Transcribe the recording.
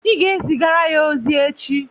Ị ga-ezigara ya ozi echi